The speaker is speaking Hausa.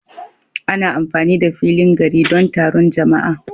Ana amfani da filin gari don taron jama'a